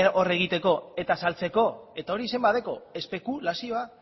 hor egiteko eta saltzeko eta hori izen bat dauka espekulazioa